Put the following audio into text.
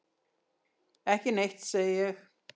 Ekki neitt, segi ég.